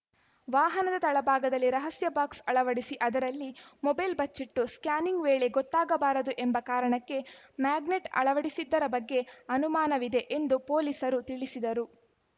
ವಾಹನದ ತಳ ಭಾಗದಲ್ಲಿ ರಹಸ್ಯ ಬಾಕ್ಸ್‌ ಅಳವಡಿಸಿ ಅದರಲ್ಲಿ ಮೊಬೈಲ್‌ ಬಚ್ಚಿಟ್ಟು ಸ್ಕ್ಯಾನಿಂಗ್ ವೇಳೆ ಗೊತ್ತಾಗಬಾರದು ಎಂಬ ಕಾರಣಕ್ಕೆ ಮ್ಯಾಗ್ನೆಟ್‌ ಅಳವಡಿಸಿದ್ದರ ಬಗ್ಗೆ ಅನುಮಾನವಿದೆ ಎಂದು ಪೊಲೀಸರು ತಿಳಿಸಿದರು